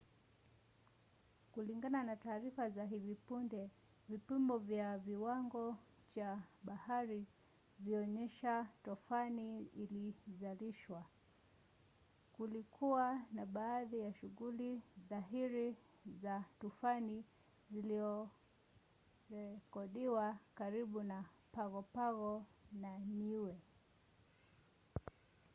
kulingana na taarifa za hivi punde vipimo vya kiwango cha bahari vilionyesha tufani ilizalishwa. kulikuwa na baadhi ya shughuli dhahiri za tufani zilizorekodiwa karibu na pago pago na niue